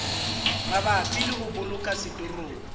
mabapi le ho boloka setorong